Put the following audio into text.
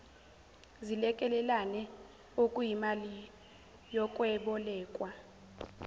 zilekelelane okuyimali yokwebolekwa